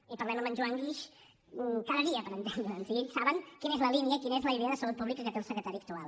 i parlem amb en joan guix cada dia per entendre’ns i ells saben quina és la línia quina és la idea de salut pública que té el secretari actual